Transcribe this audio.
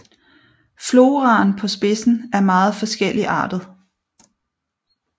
Floraen på spidsen er meget forskelligartet